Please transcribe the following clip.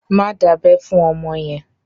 Má dábẹ́ fún ọmọ yẹn!